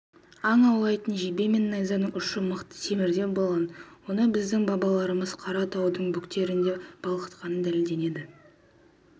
аң аулайтын жебе мен найзаның ұшы мықты темірден болған оны біздің бабаларымыз қаратаудың бөктерінде балқытқаны дәлелденді